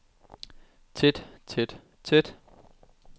tæt tæt tæt